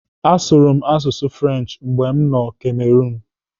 Asụrụ m asụsụ French mgbe m nọ Cameroon.